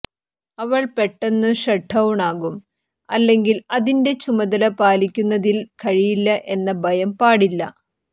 അവൾ പെട്ടെന്നു ഷട്ട്ഡൌണാകും അല്ലെങ്കിൽ അതിന്റെ ചുമതല പാലിക്കുന്നതിൽ കഴിയില്ല എന്ന ഭയം പാടില്ല